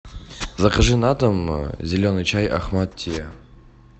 закажи на дом зеленый чай ахмад тиа